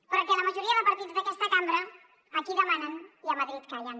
però que la majoria de partits d’aquesta cambra aquí demanen i a madrid callen